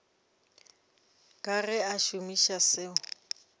ka ge a šomiša seo